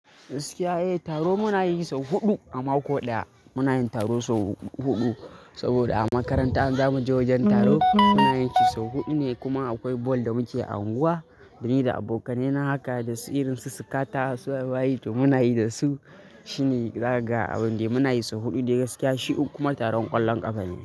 Gaskiya eh, taro muna yi sau huɗu a mako ɗaya. Muna yin taro sau huɗu saboda a makaranta in zamu je wojen taro muna yin shi sau huɗu ne. Kuma akoi ball da muke a unguwa, ni da abokanai na haka da su irin su Sikata su waye-waye to muna yi da su. Shine zakaga abun dai muna yi sau huɗu dai gaskiya. Shi kuma taron ƙwallon ƙafa ne.